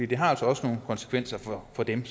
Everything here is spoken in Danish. det har også nogle konsekvenser for dem